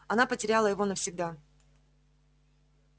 она потеряла его навсегда